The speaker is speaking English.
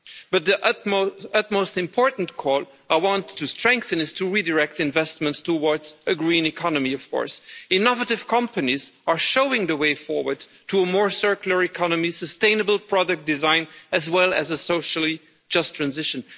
But the most important call that I want to strengthen is of course to redirect investments towards a green economy. Innovative companies are showing the way forward to a more circular economy and sustainable product design, as well as a socially just transition.